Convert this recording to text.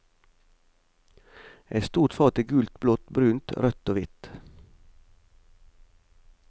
Et stort fat i gult, blått, brunt, rødt og hvitt.